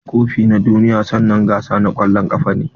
Kofi na duniya sannanen gasa na kwallon kafa ne.